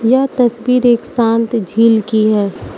यह तस्वीर एक शांत झील की है।